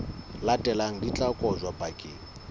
latelang di tla kotjwa bakeng